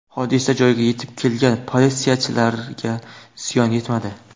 Hodisa joyiga yetib kelgan politsiyachilarga ziyon yetmadi.